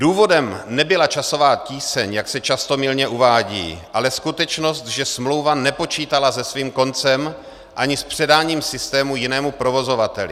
Důvodem nebyla časová tíseň, jak se často mylně uvádí, ale skutečnost, že smlouva nepočítala se svým koncem ani s předáním systému jinému provozovateli.